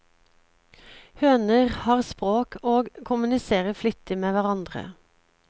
Høner har språk og kommuniserer flittig med hverandre.